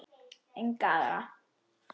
Enga aðra.